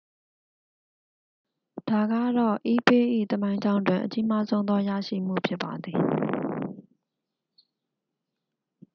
ဒါကတော့ ebay ၏ သမိုင်းကြောင်းတွင် အကြီးမားဆုံးသော ရရှိမှု ဖြစ်ပါသည်